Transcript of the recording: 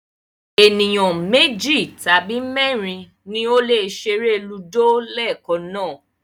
Ènìyàn méjì tàbí mẹ́rin ni ó lè ṣeré Ludo leekan náà